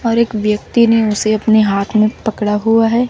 और एक व्यक्ति ने उसे अपने हाथ में पकड़ा हुआ है।